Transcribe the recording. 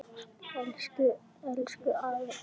Elsku, elsku afinn okkar.